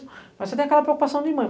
Mas você tem aquela preocupação de mãe.